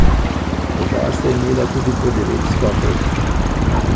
Oba sta imela tudi po devet skokov.